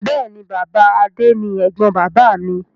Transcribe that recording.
Bẹ́ẹ̀ni, Bàbá Adé ni ẹ̀gbọ́n bàbáà mi.